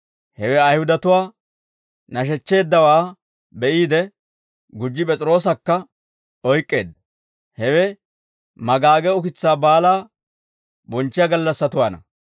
Hewe Ayihudatuwaa nashechcheeddawaa be'iide, gujji P'es'iroosakka oyk'k'eedda; hewe Maagage Ukitsaa Baalaa bonchchiyaa gallassatuwaanna.